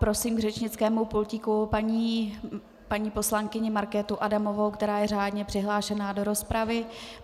Prosím k řečnickému pultíku paní poslankyni Markétu Adamovou, která je řádně přihlášená do rozpravy.